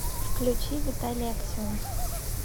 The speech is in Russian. включи виталий аксенов